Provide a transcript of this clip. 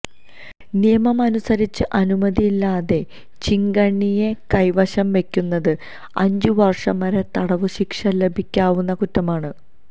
നിയമം അനുസരിച്ച് അനുമതിയില്ലാതെ ചീങ്കണ്ണിയെ കൈവശം വെക്കുന്നത് അഞ്ചുവര്ഷം വരെ തടവ് ശിക്ഷ ലഭിക്കാവുന്ന കുറ്റമാണ്